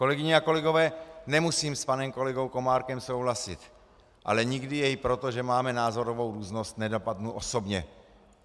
Kolegyně a kolegové, nemusím s panem kolegou Komárkem souhlasit, ale nikdy jej proto, že máme názorovou různost, nenapadnu osobně.